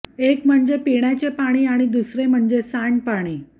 एक म्हणजे पिण्याचे पाणी आणि दुसरे म्हणजे सांडपाणी